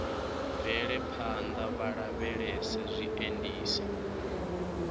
bvele phanḓa vha lavhelese zwiendisi